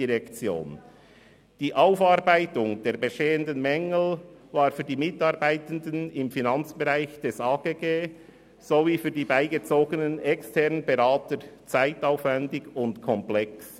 Die Aufarbeitung der bestehenden Mängel war für die Mitarbeitenden im Finanzbereich des AGG sowie für die beigezogenen externen Berater zeitaufwendig und komplex.